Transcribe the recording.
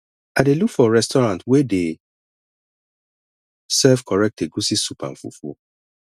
i dey look for restaurant wey dey serve correct egusi soup and fufu